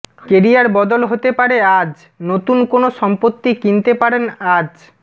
career বদল হতে পারে আজ নতুন কোন সম্পত্তি কিনতে পারেন আজ